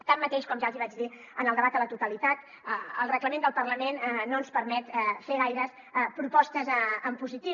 tanmateix com ja els hi vaig dir en el debat a la totalitat el reglament del parlament no ens permet fer gaires propostes en positiu